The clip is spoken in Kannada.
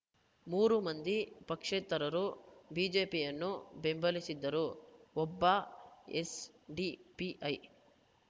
ಮೂರು ಮಂದಿ ಪಕ್ಷೇತರರು ಬಿಜೆಪಿಯನ್ನು ಬೆಂಬಲಿಸಿದರೆ ಒಬ್ಬ ಎಸ್‌ಡಿಪಿಐ